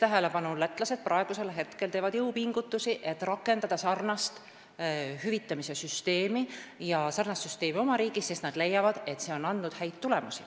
Lätlased teevad praegu jõupingutusi, et rakendada sarnast hüvitamise süsteemi oma riigis, sest nad leiavad, et see on andnud häid tulemusi.